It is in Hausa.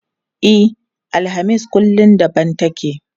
E, alhamis kullum daban take.